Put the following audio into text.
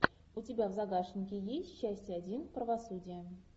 у тебя в загашнике есть часть один правосудие